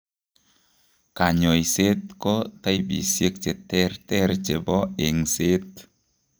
Kanyoiset ko taipisiek cheterter chebo eng''seet